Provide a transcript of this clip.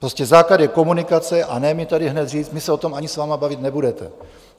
Prostě základ je komunikace, a ne mi tady hned říct: My se o tom ani s vámi bavit nebudeme.